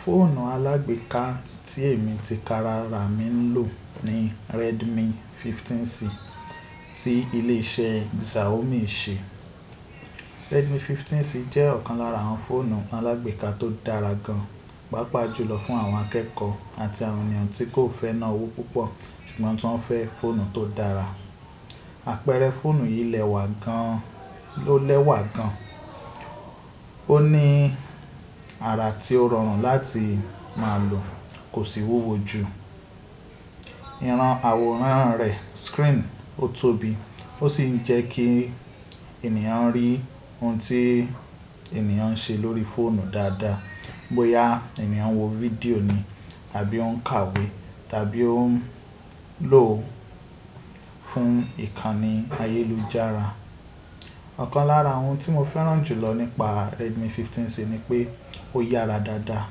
Fóònù alágbeeka tí èmi ti kara rà máa ń lò ni Redmi 15C tí ilé iṣẹ́ Xiaomi ṣe. Redmi 15C jẹ́ ọ̀kan lára àwọn fóònù alágbeeka tó dára gan, pàápàá jùlọ fún àwọn akẹ́kọ̀ọ́ àti àwọn ènìyàn tí kò fẹ́ ná owó púpọ̀ ṣùgbọ́n tí wọ́n fẹ́ fóònù tó dára. Àpẹẹrẹ fóònù yìí lẹ́wà gan, ó lẹ́wà gan. Ó ní ara tí ó rọrùn láti máa lò, kò sì wúwo jù. Ìrán àwòrán rẹ̀ screen ó tóbi, ó sì ń jẹ́ kí ènìyàn rí ohun tí ènìyàn ń ṣe lórí fóònù dáadáa. Bóyá ènìyàn ń wo fídíò ni tàbí ó ń kàwé tàbí ó ń lò ó fún ìkànnì ayélujára. Ọ̀kan lára ohun tí mo fẹ́ràn jùlọ nípa Redmi 15C ni pé ó yára dáadáa.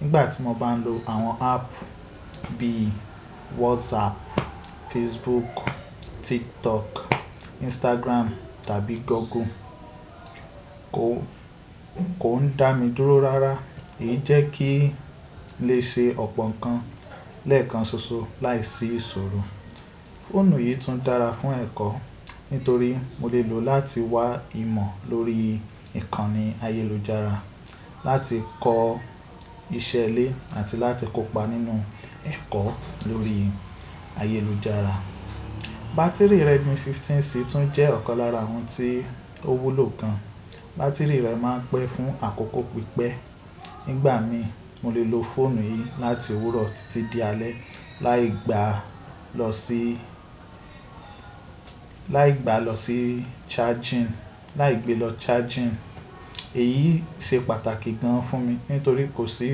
Nígbà tí mo bá ń lo àwọn app bíi WhatsApp, Facebook, TikTok, Instagram tàbí Google, kò, kò ń dá mi dúró rárá. Èyí jẹ́ kí n lè ṣe ọ̀pọ̀ nǹkan lẹ́ẹ̀kan ṣoṣo láìsí ìṣòro. Fóònù yìí tún dára fún ẹ̀kọ́ nítorí mo lè lò ó láti wá ìmọ̀ lórí ìkànnì ayélujára, láti kọ́ iṣẹ́ ilé àti láti kópa nínú ẹ̀kọ́ lórí ayélujára. Bá́tíìrì Redmi 15C tún jẹ́ ọ̀kan lára ohun tí ó wúlò gan. Bá́tíìrì rẹ̀ máa ń pẹ́ fún àkókò pípẹ́. Nígbà mí mo lè lo fóònù yìí láti òwúrọ̀ títí di alẹ́ láì gba lọ sí, láì gba lọ sí charging, láì gbé lọ charging. Èyí ṣe pàtàkì gan fún mi nítorí kò sí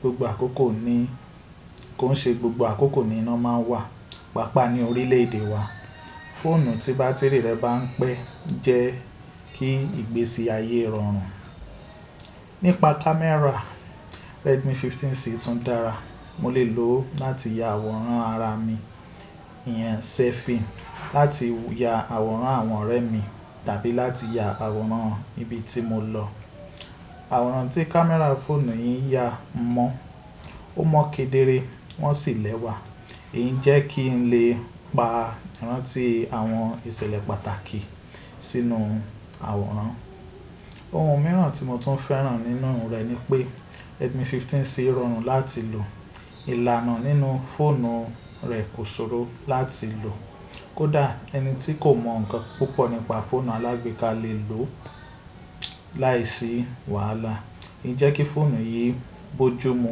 gbogbo àkókò ní, kò ń ṣe gbogbo àkókò ni iná máa ń wà, pàápàá ní orílẹ̀ èdè wa. Fóònù tí bátìrì rẹ̀ bá ń pẹ́ jẹ́ kí ìgbésí ayé rọrùn. Nípa kámẹ́rà, Redmi 15C tún dára. Mo lè lò ó láti ya àwòrán ara mi, ìyẹn selfie, láti ya àwòrán àwọn ọ̀rẹ́ mi tàbí láti ya àwòrán ibi tí mo lọ. Àwòrán tí kámẹ́rà fónù yìí ń ya mọ́, ó mọ́ kedere wọ́n sì lẹ́wà. Èyí jẹ́ kí n lè pa ìran ti àwọn ìṣẹ̀lẹ̀ pàtàkì sínú àwòrán. Ohun mìíràn tí mo tún fẹ́ràn nínú rẹ̀ ni pé Redmi 15C rọrùn láti lò. Ìlànà nínú fóònù rẹ̀ kò ṣòro láti lò. Kódà ẹni tí kò mọ̀ ǹkan púpọ̀ nípa fóònù alágbeeka lè lò ó láìsí wàhálà. Èyí jẹ́ kí fóònù yìí bojúmu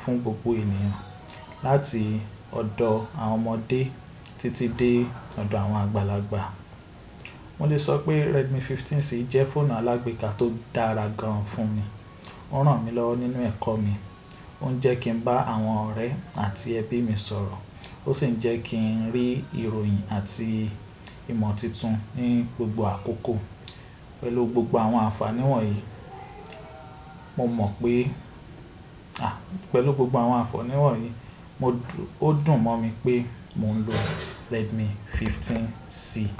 fún gbogbo ènìyàn láti ọ̀dọ̀ àwọn ọmọdé títí dé ọ̀dọ̀ àwọn àgbàlagbà. Mo lè sọ pé Redmi 15C jẹ́ fóònù alágbeeka tó dára gan fún mi. Ó ràn mí lọ́wọ́ nínú ẹ̀kọ́ mi, ó ń jẹ́ kí ń bá àwọn ọ̀rẹ́ àti ẹbí mi sọ̀rọ̀. Ó sì ń jẹ́ kí ń rí ìròyìn àti ìmọ̀ titun ní gbogbo àkókò. Pẹ̀lú gbogbo àwọn ànfàní wọ̀n yìí, mo mọ̀ pé-- à, pẹ̀lú gbogbo àwọn ànfàní wọ̀n yìí, mo dùn-- ó dùn mọ́ mi pé mò ń lo Redmi 15C.